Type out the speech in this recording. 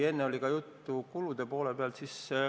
Enne oli juttu ka kulude poole pealt.